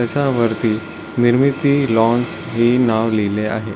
त्याच्यावरती निर्मिती लॉन्स हे नाव लिहिले आहे.